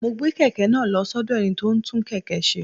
Mo gbé kèké náà lo sódò ẹni tó ń tún kèké se